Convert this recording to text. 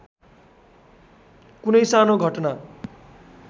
कुनै सानो घटना